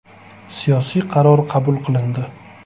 “Siyosiy qaror qabul qilindi.